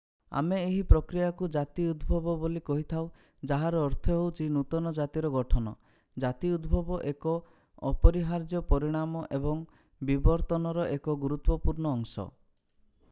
ଆମେ ଏହି ପ୍ରକ୍ରିୟାକୁ ଜାତି ଉଦ୍ଭବ ବୋଲି କହିଥାଉ ଯାହାର ଅର୍ଥ ହେଉଛି ନୂତନ ଜାତିର ଗଠନ ଜାତି ଉଦ୍ଭବ ଏକ ଅପରିହାର୍ଯ୍ୟ ପରିଣାମ ଏବଂ ବିବର୍ତ୍ତନର ଏକ ଗୁରୁତ୍ୱପୂର୍ଣ୍ଣ ଅଂଶ